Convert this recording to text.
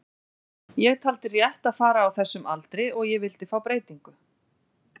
Ég taldi rétt að fara á þessum aldri og ég vildi fá breytingu.